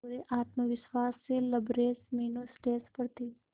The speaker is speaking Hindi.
पूरे आत्मविश्वास से लबरेज मीनू स्टेज पर थी